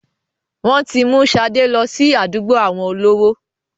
Wọn tí mú sade lọ sí àdúgbò àwọn olówó.